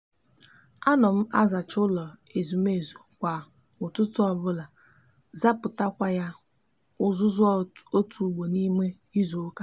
a no m azacha ulo ezumezu kwa ututu obulama zapukwa ya uzuzu otu ugbo n'ime izuuka